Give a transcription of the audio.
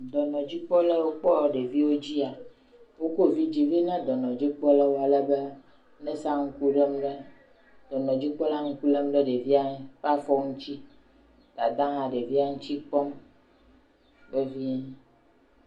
Dɔnɔdzila yiwo kpɔa ɖewo dzia, wokɔ vidzɛ̃ vɛ na dɔnɔdzikpɔlawo, alebe nɛsia ŋku lém ɖe, dɔnɔdzikpɔla ŋku lém ɖe ɖevia ƒe afɔ ŋuti, dada hã ɖevia ŋuti kpɔm vevie.